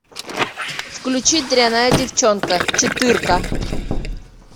включи дрянная девчонка четырка